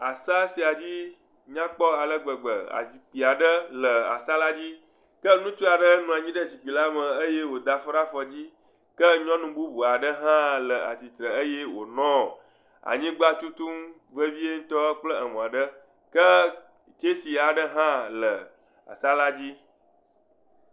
Asa sia dzi nyakpɔ ŋutɔ ale gbegbe. Azikpui aɖe le asa la dzi. Ke ŋutsu aɖe nɔ anyi ɖe zikpui lame eye wòda afɔ ɖe afɔ dzi, ke nyɔnu bubu aɖe hã le tsitre eye wònɔ anyigba tutum vevie ŋutɔ kple emɔ aɖe.